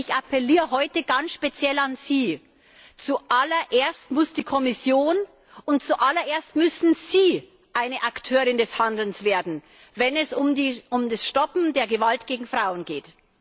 Ich appelliere heute ganz speziell an Sie Zu allererst muss die Kommission, und zu allererst müssen Sie eine Akteurin des Handelns werden, wenn es um das Stoppen der Gewalt gegen Frauen geht.